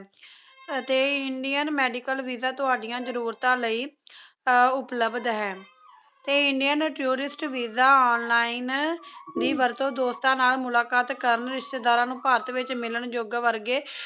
ਅਤੇ Indian medical VISA ਤੁਹਾਡੀਆਂ ਜਰੂਰਤਾਂ ਲਈ ਉਪਲਬਧ ਹੈ ਤੇ ਇੰਡਿਯਨ ਟੂਰਿਸਟ ਵੀਜ਼ਾ online ਦੀ ਵਰਤੋਂ ਦੋਸਤਾਂ ਨਾਲ ਮੁਲਾਕਾਤ ਕਰਨ ਰਿਸ਼ਤੇਦਾਰਾਂ ਨੂੰ ਭਾਰਤ ਵਿੱਚ ਮਿਲਣਜੋਗ ਵਰਗੇ